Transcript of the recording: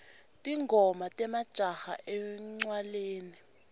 tingoma temajaha encwaleni